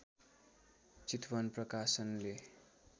चितवन प्रकाशनले